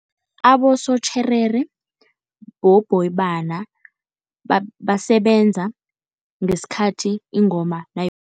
Abosotjherere bobhoyibana basebenza ngesikhathi ingoma